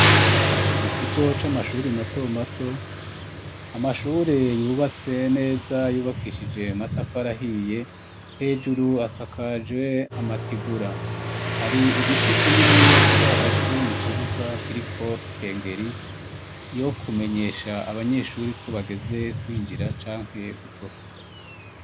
mu kigo c'amashuri mato mato amashuri yubatse neza yubakishije amatafari ahiye hejuru asakaje amatigura hari igiti kininiya kiri hagati mu kibuga kiriko ikengeri yo kumenyesha abanyeshuri ko bageze kwinjira canke gusohoka